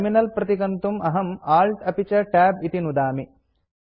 terminal प्रतिगन्तुम् अहं ALT अपि च Tab इति नुदामि